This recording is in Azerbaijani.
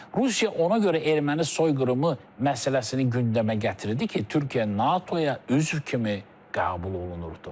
Rusiya ona görə erməni soyqırımı məsələsini gündəmə gətirdi ki, Türkiyə NATOya üzv kimi qəbul olunurdu.